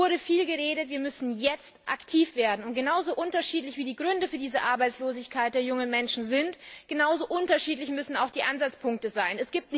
Es wurde viel geredet, jetzt müssen wir aktiv werden! Und genauso unterschiedlich wie die Gründe für diese Arbeitslosigkeit der jungen Menschen sind, genauso unterschiedlich müssen auch die Ansatzpunkte sein.